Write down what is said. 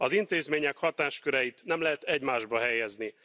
Az intézmények hatásköreit nem lehet egymásba helyezni.